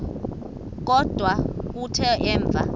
kodwa kuthe emva